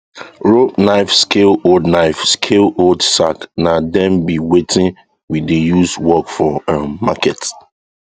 rope knife scale old knife scale old sack na dem be watin we dey use work for um market